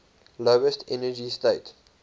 lowest energy state